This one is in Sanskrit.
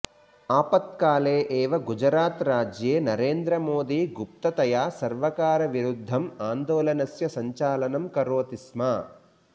आपत्काले एव गुजरातराज्ये नरेन्द्रमोदी गुप्ततया सर्वकारविरुद्धम् आन्दोलनस्य सञ्चालनं करोति स्म